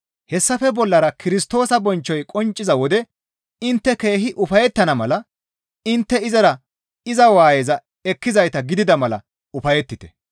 Hessafe bollara Kirstoosa bonchchoy qoncciza wode intte keehi ufayettana mala intte izara iza waayeza ekkizayta gidida mala ufayettite.